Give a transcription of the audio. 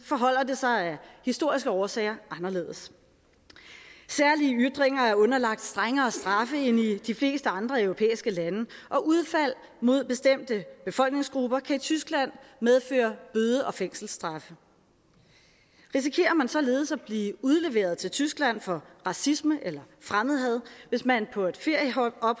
forholder det sig af historiske årsager anderledes særlige ytringer er underlagt strengere straffe end i de fleste andre europæiske lande og udfald mod bestemte befolkningsgrupper kan i tyskland medføre bøde og fængselsstraffe risikerer man således at blive udleveret til tyskland for racisme eller fremmedhad hvis man